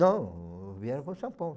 Não, vieram para São Paulo.